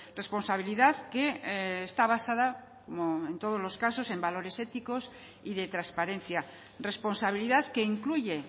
responsabilidad que está basada como en todos los casos en valores éticos y de transparencia responsabilidad que incluye